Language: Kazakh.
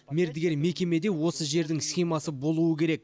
мердігер мекемеде осы жердің схемасы болуы керек